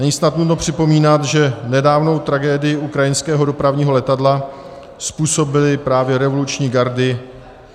Není snad nutno připomínat, že nedávnou tragédii ukrajinského dopravního letadla způsobily právě revoluční gardy.